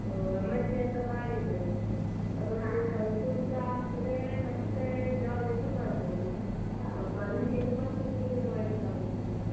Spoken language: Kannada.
ಆಹ್ M.sc ಅಂತ ಮಾಡಿದ್ರೆ ಒಮ್ಮೆ ಅದೊಂದು ಕಲ್ತುಸ ಆಗ್ತದೆ ಮತ್ತೆ job ಎಂತೂ ಮಾಡ್ಬೋದು, ಆಹ್ qualification ಮತ್ತೆ ಶುರುವಿಂದ ಮಾಡ್ಲಿಕ್ಕೆ ಆಗುದಿಲ್ಲ ಅಲಾ?